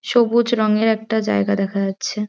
সবুজ রঙের একটা জায়গা দেখা যাচ্ছে।